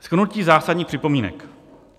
"Shrnutí zásadních připomínek.